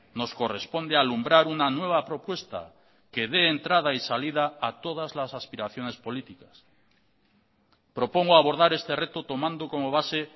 nos corresponde alumbrar una nueva propuesta que dé entrada y salida a todas las aspiraciones políticas propongo abordar este reto tomando como base